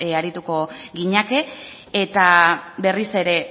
ariko ginateke eta berriz ere